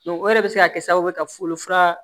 o de bɛ se ka kɛ sababu ye ka wolofa